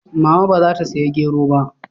Mama ba za ta saya gero ba?